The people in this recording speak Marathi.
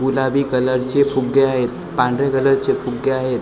गुलाबी कलरचे फुगे आहेत पांढरे कलरचे फुगे आहेत .